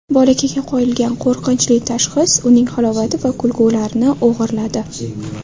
Bolakayga qo‘yilgan qo‘rqinchli tashxis uning halovati va kulgularini o‘g‘irladi.